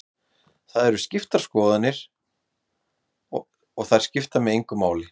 Þetta eru skoðanir og þær skipta mig engu máli.